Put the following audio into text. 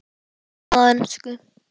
Túlkað á ensku.